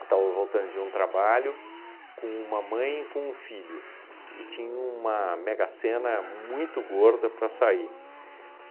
Eu estava voltando de um trabalho com uma mãe e com um filho, e tinha uma mega-sena muito gorda para sair.